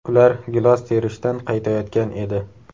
Ular gilos terishdan qaytayotgan edi.